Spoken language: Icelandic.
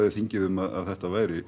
þingið um að þetta væri